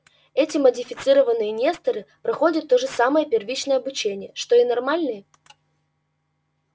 эти модифицированные несторы проходят то же самое первичное обучение что и нормальные